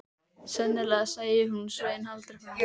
Sennilega sæi hún Svein aldrei framar.